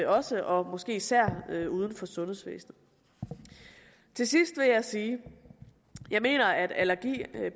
også og måske især uden for sundhedsvæsenet til sidst vil jeg sige at jeg mener at allergi